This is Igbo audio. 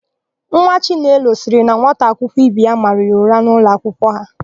Nwa chinelo sịrị na nwata akwụkwọ ibe ya mara ya ụra n'ụlọakwụkwọ ha.